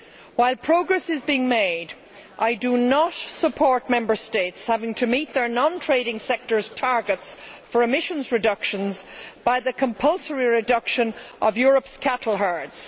While progress is being made, I do not support Member States having to meet their non trading sectors' targets for emissions reductions by the compulsory reduction of Europe's cattle herds.